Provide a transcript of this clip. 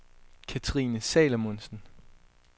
Cathrine Salomonsen